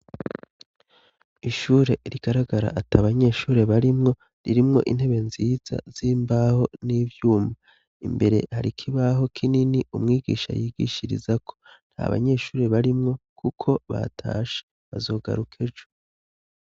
Ishure rigaragara ata banyeshuri barimwo. Ririmwo intebe nziza z'imbaho n'ivyuma. Imbere har'ikibaho kinini, umwigisha yigishirizako. Nta banyeshuri barimwo kuko batashe bazogaruka ejo.